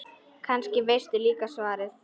Kannski veistu líka svarið.